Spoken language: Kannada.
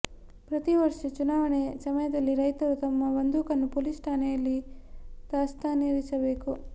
ಪ್ರತೀ ವರ್ಷ ಚುನಾವಣೆ ಸಮಯದಲ್ಲಿ ರೈತರು ತಮ್ಮ ಬಂದೂಕನ್ನು ಪೋಲೀಸ್ ಠಾಣೆಯಲ್ಲಿ ದಾಸ್ತಾನಿರಿಸಬೇಕು